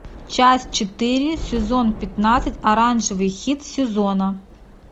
часть четыре сезон пятнадцать оранжевый хит сезона